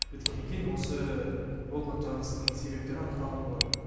біткеннен кейін осы болған жарылыстың себептері анықталатын болады